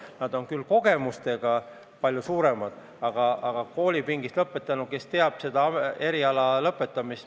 Neil on küll palju suuremad kogemused, aga koolipingist tulnu teab pärast lõpetamist rohkem.